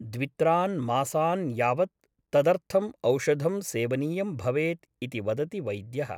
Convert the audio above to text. द्वित्रान् मासान् यावत् तदर्थम् औषधं सेवनीयं भवेत् इति वदति वैद्यः ।